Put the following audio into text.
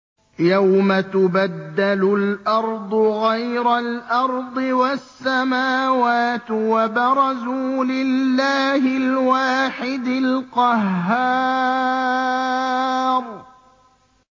يَوْمَ تُبَدَّلُ الْأَرْضُ غَيْرَ الْأَرْضِ وَالسَّمَاوَاتُ ۖ وَبَرَزُوا لِلَّهِ الْوَاحِدِ الْقَهَّارِ